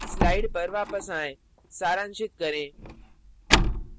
slide पर वापस आएँ सारांशित करें